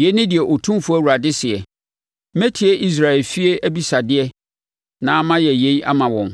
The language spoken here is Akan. “Yei ne deɛ Otumfoɔ Awurade seɛ: Mɛtie Israel efie abisadeɛ na mayɛ yei ama wɔn;